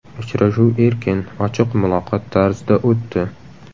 Uchrashuv erkin, ochiq muloqot tarzida o‘tdi.